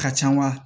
Ka ca wa